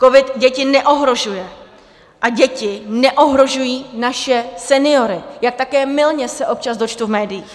Covid děti neohrožuje a děti neohrožují naše seniory, jak také mylně se občas dočtu v médiích.